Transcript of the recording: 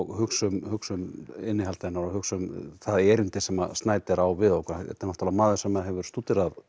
hugsa um hugsa um innihald hennar og hugsa um það erindi sem á við okkur þetta er náttúrulega maður sem hefur stúderað